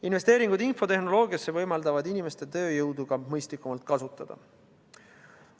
Investeeringud infotehnoloogiasse võimaldavad inimeste tööjõudu ka mõistlikumalt kasutada.